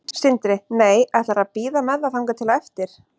Sindri: Nei, ætlarðu að bíða með það þangað til á eftir?